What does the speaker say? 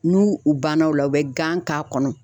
N'u u banna o la u bɛ gan k'a kɔnɔ.